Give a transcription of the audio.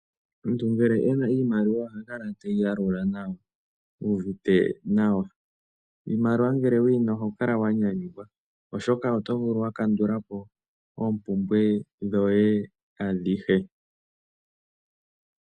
Omuntu ngele e na iimaliwa oha kala teyi yalula nawa, u uvite nawa. Iimaliwa ngele wuyi na oho kala wa nyanyukwa, oshoka oto vulu wakandulapo oompumbwe dhoye adhihe.